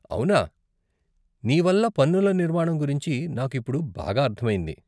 అవునా, నీ వల్ల పన్నుల నిర్మాణం గురించి నాకు ఇప్పుడు బాగా అర్ధం అయింది.